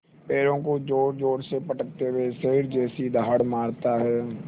पैरों को ज़ोरज़ोर से पटकते हुए शेर जैसी दहाड़ मारता है